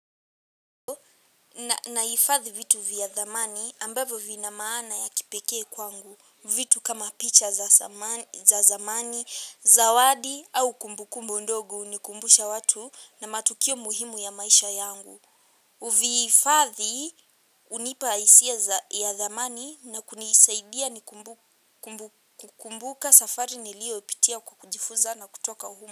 Nahifadhi vitu vya thamani ambavyo vina maana ya kipeke kwangu vitu kama picha za zamani, zawadi au kumbukumbu ndogo hunikumbusha watu na matukio muhimu ya maisha yangu. Uvii fadhi unipa isia ya dhamani na kunisaidia ni kumbuka safari niliyo ipitia kukujifuza na kutoka humu.